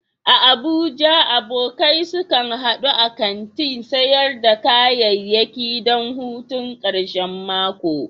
A Abuja, abokai sukan hadu a kantin sayar da kayayyaki don hutun karshen mako?